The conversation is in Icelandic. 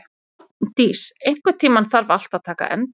Árndís, einhvern tímann þarf allt að taka enda.